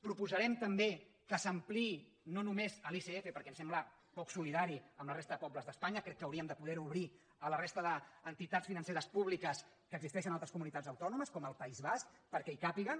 proposarem també que s’ampliï no només a l’icf perquè ens sembla poc solidari amb la resta de pobles d’espanya crec que hauríem de poder ho obrir a la resta d’entitats financeres públiques que existeixen a altres comunitats autònomes com al país basc perquè hi càpiguen